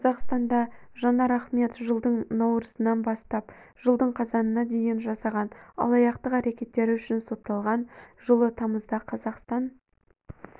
қазақстанда жанар ахмет жылдың наурызынан жылдың қазанына дейін жасаған алаяқтық әрекеттері үшін сотталған жылы тамызда қазақстан